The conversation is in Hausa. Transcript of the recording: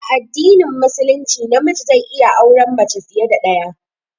A addinin musulunci na miji zai iya aure mace fiye da ɗaya